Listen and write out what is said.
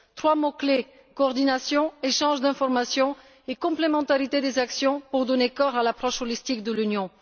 Trois mots clefs coordination, échanges d'informations et complémentarité des actions pour donner corps à l'approche globale de l'Union.